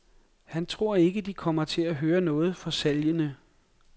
Han tror ikke, de kommer til at høre noget for salgene.